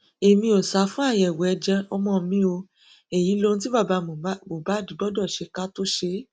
èmi ò sá fún àyẹwò ẹjẹ ọmọ mi o èyí lohun tí bàbá mohbad gbọdọ ṣe ká tóó ṣe é